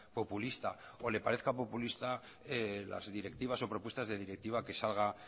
populista o le parezca populista las directivas o propuestas de directiva que salga